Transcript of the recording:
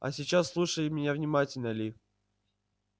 а сейчас слушай меня внимательно ли